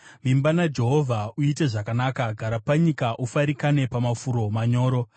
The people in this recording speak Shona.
Vimba naJehovha uite zvakanaka; gara panyika ufarikane pamafuro manyoro.